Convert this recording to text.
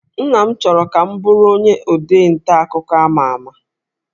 Nna m chọrọ ka m bụrụ onye ode nta akụkọ ama ama